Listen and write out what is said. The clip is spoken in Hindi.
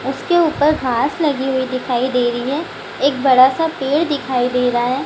उसके ऊपर घास लगी हुई दिखाई दे रही है एक बड़ा-सा पेड़ दिखाई दे रहा है ।